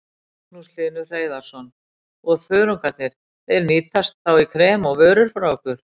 Magnús Hlynur Hreiðarsson: Og þörungarnir, þeir nýtast þá í krem og vörur frá ykkur?